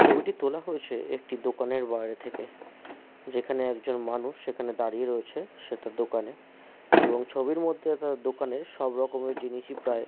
ছবিটি তোলা হয়েছে একটি দোকানের বাইরে থেকে যেখানে একজন মানুষ সেখানে দাঁড়িয়ে রয়েছে দোকানে এবং ছবির মধ্যে দ দোকানের সব রকমের জিনিসই প্রায় --